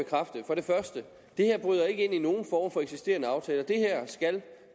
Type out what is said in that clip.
det her ikke bryder ind i nogen former for eksisterende aftaler det her skal